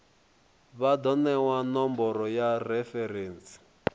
vha do newa nomboro ya referentsi